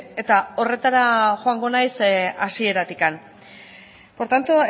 eta horretara joango naiz hasieratik por tanto